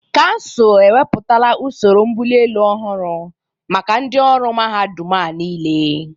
Kansụl ewepụtala usoro mbụli elu ọhụrụ maka ndị ọrụ mahadum a niile.